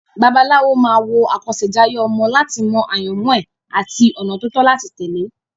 Babaláwo máa wo àkọsẹ̀jayé ọmọ láti mọ àyànmọ́ ẹ̀ àti ọ̀nà tó tọ́ láti tẹ̀lé.